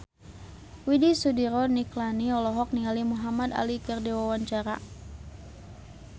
Widy Soediro Nichlany olohok ningali Muhamad Ali keur diwawancara